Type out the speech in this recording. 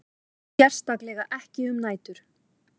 Sérstaklega ekki um nætur.